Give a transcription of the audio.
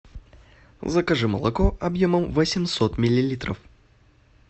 закажи молоко объемом восемьсот миллилитров